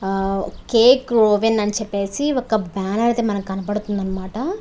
ఆ కేక్ రోవెన్ అని చెప్పేసి ఒక బ్యానర్ అయితే మనకి కనబడుతుంది అనమాట.